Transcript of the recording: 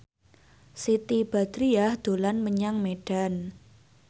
Siti Badriah dolan menyang Medan